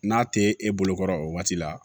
N'a tɛ e bolo kɔrɔ o waati la